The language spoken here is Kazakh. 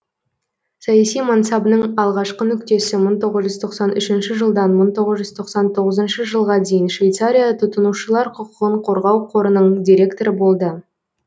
саяси мансабының алғашқы нүктесі мың тоғыз жүз тоқсан үшінші жылдан мың тоғыз жүз тоқсан тоғызыншы жылға дейін швейцария тұтынушылар құқығын қорғау қорының директоры болды